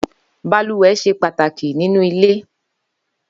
Bàlúwẹ̀ ṣé pàtáki ninú ilé